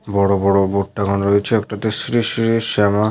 বড় বড় বোর্ড টাঙানো রয়েছে। একটাতে শ্রী শ্রী শ্যামা --